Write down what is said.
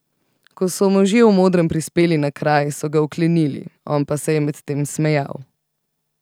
Ko so možje v modrem prispeli na kraj, so ga vklenili, on pa se je medtem smejal.